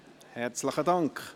Herzlichen Dank!